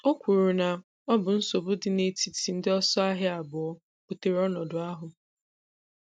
O kwuru na ọ bụ nsogbu dị n'etiti ndị ọsọ ahịa abụọ butere ọnọdụ ahụ.